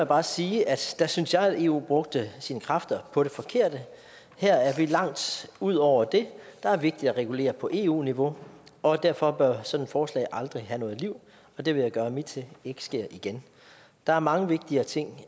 bare sige at der synes jeg at eu brugte sine kræfter på det forkerte her er vi langt ude over det der er vigtigt at regulere på eu niveau og derfor bør sådan et forslag aldrig have noget liv og det vil jeg gøre mit til ikke sker igen der er mange vigtigere ting